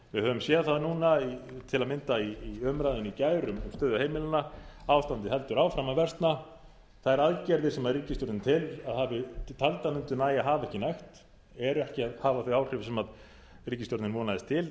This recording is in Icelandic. við höfum séð það núna til að mynda í umræðum í gær um stöðu heimilanna ástandið heldur áfram að versna þær aðgerðir sem ríkisstjórnin taldi að mundu nægja hafa ekki nægt eru ekki að hafa þau áhrif sem ríkisstjórnin vonaðist til